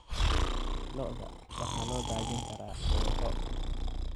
Lo'da waxaa loo daajin karaa kooxo.